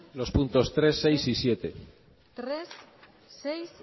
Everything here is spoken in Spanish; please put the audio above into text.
los puntos tres seis y siete tres seis